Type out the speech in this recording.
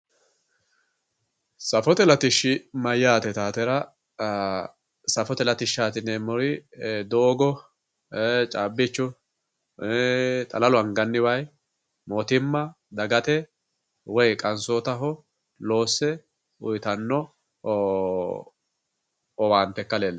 safote latishshi mayyaate yitawootera safote latishshaati yineemmori doogo caabbichu xalalu anganni wayii mootimma dagate woy qansootaho loosse uyiitanno owaante ikka leellishshanno